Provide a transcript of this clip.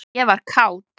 ég var kát.